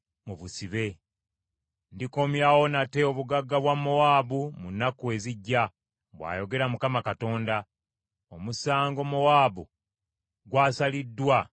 “Ndikomyawo nate obugagga bwa Mowaabu mu nnaku ezijja,” bw’ayogera Mukama Katonda. Omusango Mowaabu gw’asaliddwa gukoma wano.